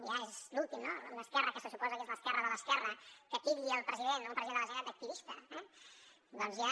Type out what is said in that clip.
ja és l’últim no una esquerra que se suposa que és l’esquerra de l’esquerra que titlli el president o un president de la generalitat d’ activista doncs ja